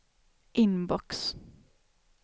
inbox